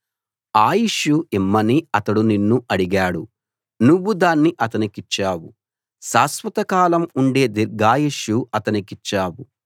ఆయుష్షు ఇమ్మని అతడు నిన్ను అడిగాడు నువ్వు దాన్ని అతనికిచ్చావు శాశ్వతకాలం ఉండే దీర్ఘాయుష్షు అతనికిచ్చావు